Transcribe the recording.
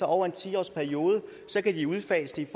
over en ti årsperiode udfase det